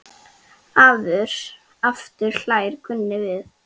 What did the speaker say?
Aftur hlær Gunni við.